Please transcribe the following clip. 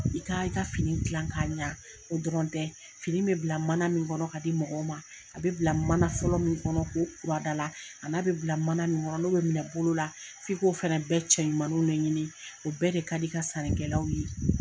I ka i ka fini gilan ka ɲa o dɔrɔn tɛ fini bɛ bila mana min kɔnɔ ka di mɔgɔw ma a bɛ bila mana fɔlɔ min kɔnɔ k'o a da la a n'a bɛ bila mana min kɔnɔ n'u bɛ minɛ bolo la f'i ko fana bɛɛ cɛɲumaniw le ɲini o bɛɛ de ka di i ka sani kɛlaw ye.